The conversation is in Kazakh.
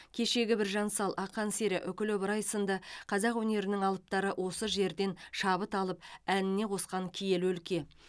кешегі біржан сал ақан сері үкілі ыбырай сынды қазақ өнерінің алыптары осы жерден шабыт алып әніне қосқан киелі өлке